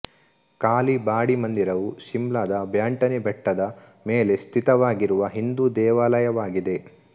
ಕಾಲಿ ಬಾಡಿ ಮಂದಿರವು ಶಿಮ್ಲಾದ ಬ್ಯಾಂಟನಿ ಬೆಟ್ಟದ ಮೇಲೆ ಸ್ಥಿತವಾಗಿರುವ ಹಿಂದೂ ದೇವಾಲಯವಾಗಿದೆ